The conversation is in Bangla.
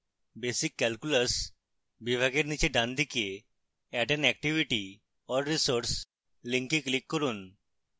basic calculus বিভাগের নীচে ডানদিকে add an activity or resource link click করুন